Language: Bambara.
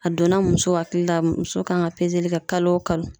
A donna muso hakili la muso kan ka pezeli kɛ kalo o kalo